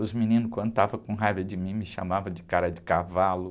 Os meninos, quando estavam com raiva de mim, me chamavam de cara de cavalo.